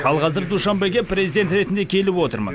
ал қазір душанбеге президент ретінде келіп отырмын